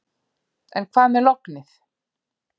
En hvað með lognið.